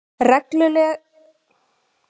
reglugerð um íslensk vegabréf